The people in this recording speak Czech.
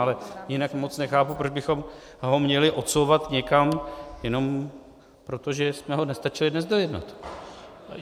Ale jinak moc nechápu, proč bychom ho měli odsouvat někam jenom proto, že jsme ho nestačili dnes dojednat.